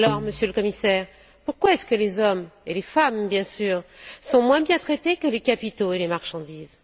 Alors, Monsieur le Commissaire, pourquoi est ce que les hommes, et les femmes bien sûr, sont moins bien traités que les capitaux et les marchandises?